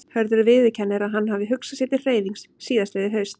Hörður viðurkennir að hann hafi hugsað sér til hreyfings síðastliðið haust.